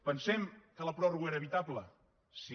pensem que la pròrroga era evitable sí